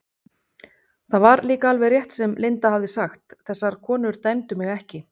Það var líka alveg rétt sem Linda hafði sagt, þessar konur dæmdu mig ekki.